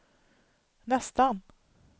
nästan